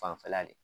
Fanfɛla le